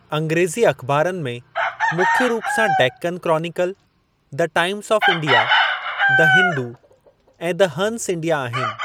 अंग्रेज़ी अखबारनि में मुख्य रूप सां Deccan Chronicle, the Times of India, the Hindu ऐं द हंस इंडिया आहिनि।